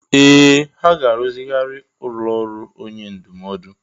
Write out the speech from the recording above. Ee! Ha ga-arụzigharị ụlọ ọrụ onye ndụmọdụ.